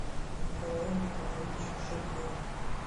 николаем николаевичем шепелевым